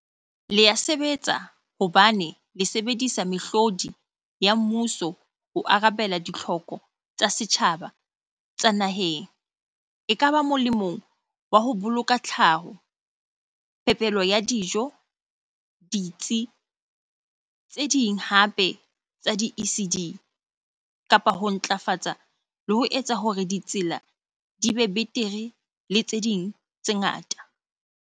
Le ya sebetsa hobane le sebedisa mehlodi ya mmuso ho arabela ditlhoko tsa setjhaba tsa naheng, ekaba molemong wa ho boloka tlhaho, phepelo ya dijo, ditsi tse ding hape tsa di-ECD, kapa ho ntlafatsa le ho etsa hore ditsela di be betere le tse ding tse ngata.